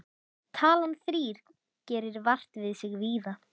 Talan þrír gerir vart við sig víða.